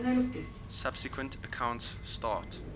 subsequent accounts start